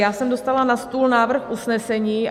Já jsem dostala na stůl návrh usnesení.